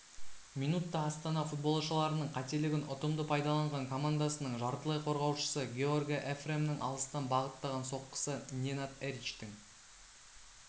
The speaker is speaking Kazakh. минутта астана футболшыларының қателігін ұтымды пайдаланған командасының жартылай қорғаушысы георге эфремнің алыстан бағыттаған соққысы ненад эричтің